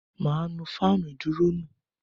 Mà á nu fáànù ìdúró nù.